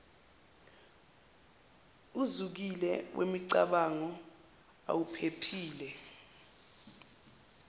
uzikile ngemicabango awuphephile